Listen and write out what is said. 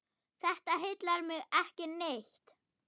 Þetta heillar mig ekki neitt.